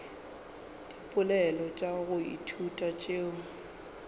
dipoelo tša go ithuta tšeo